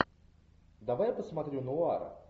давай я посмотрю нуар